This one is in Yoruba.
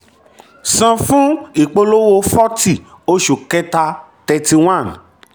san fún ìpolówó forty oṣù kẹta thirty one.